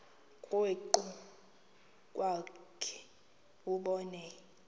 krwaqu kwakhe ubone